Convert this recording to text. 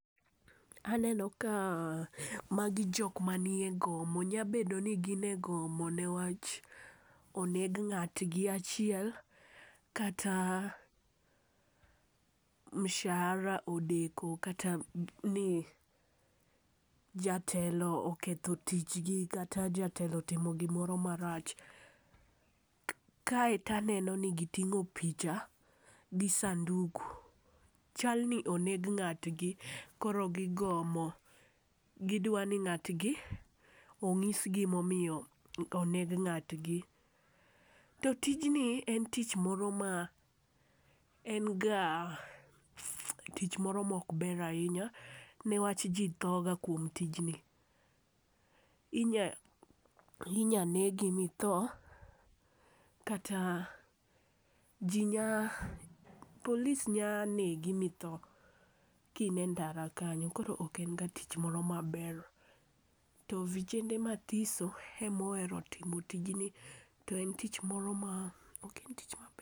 Aneno ka magi jok manie gomo, nyabedo ni gin egomo niwach oneg ng'atgi achiel kata mshahara odeko kata ni jatelo oketho tichgi kata jatelo otimo gimoro marach. Kaeto aneno ni giting'o picha gi sanduk. Chal ni oneg ng'atgi, koro gigomo. Gidwa ni ng'atgi onyisgi momiyo oneg ng'atgi. To tijni entich moro ma en ga tich moro mokber ahinya niwach ji thoga kuom tijni. Inya negi mitho, kata polis nyanegi mitho, kine ndara kanyo, koro ok en ga tich moro maber. To vijende mathiso ema ohero timo tijni, to en tich moro ma, ok en tich maber.